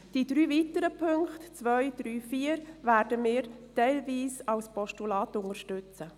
Die Ziffern 2, 3 und 4 werden wir teilweise als Postulat unterstützen.